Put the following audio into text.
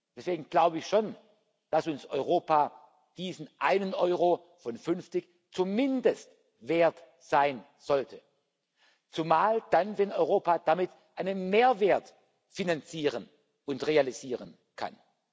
Deswegen glaube ich schon, dass uns Europa diesen einen Euro von 50 zumindest wert sein sollte, zumal dann, wenn Europa damit einen Mehrwert finanzieren und realisieren kann.